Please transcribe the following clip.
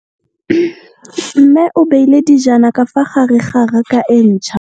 Mmê o beile dijana ka fa gare ga raka e ntšha.